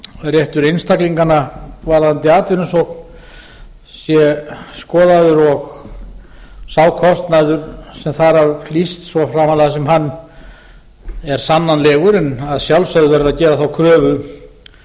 réttur einstaklinganna varðandi atvinnusókn sé skoðaður og sá kostnaður sem þar af hlýst svo framarlega sem hann er sannanlegur en að sjálfsögðu verður